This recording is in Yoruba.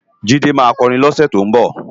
Jide má kòrin lòse tó nbò